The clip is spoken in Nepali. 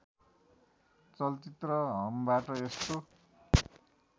चलचित्र हमबाट यस्तो